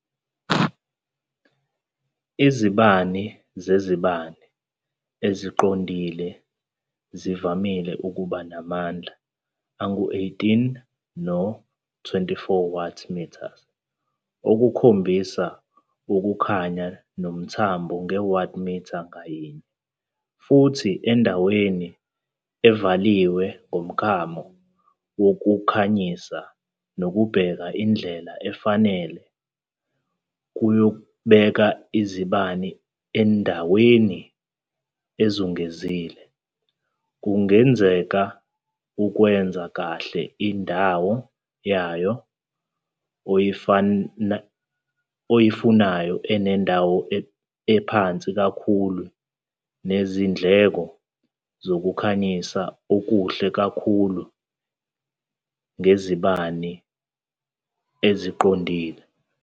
Izibani zezibani eziqondile zivame ukuba namandla angu-18 no-24 watts metres, okukhombisa ukukhanya nomthombo nge-Watt meter ngayinye, futhi endaweni evaliwe ngomklamo wokukhanyisa nokubheka indlela efanele yokubeka izibani endaweni ezungezile, kungenzeka ukwenza kahle indawo yayo oyifunayo enendawo ephansi kakhulu nezindleko Zokukhanyisa Okuhle kakhulu ngezibani eziqondile.